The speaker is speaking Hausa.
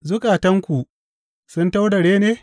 Zukatanku sun taurare ne?